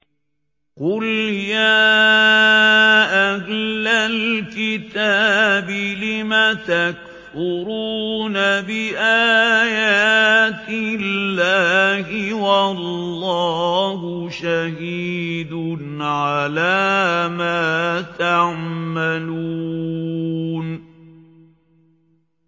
قُلْ يَا أَهْلَ الْكِتَابِ لِمَ تَكْفُرُونَ بِآيَاتِ اللَّهِ وَاللَّهُ شَهِيدٌ عَلَىٰ مَا تَعْمَلُونَ